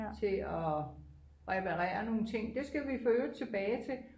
til at reperere nogle ting det skal vi forøvrigt tilbage til